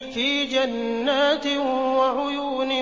فِي جَنَّاتٍ وَعُيُونٍ